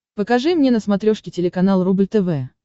покажи мне на смотрешке телеканал рубль тв